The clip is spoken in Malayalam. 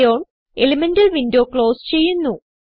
ഇറോൺ എലിമെന്റൽ വിൻഡോ ക്ലോസ് ചെയ്യുന്നു